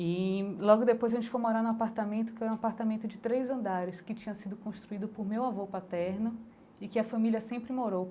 E logo depois a gente foi morar no apartamento, que era um apartamento de três andares, que tinha sido construído por meu avô paterno e que a família sempre morou.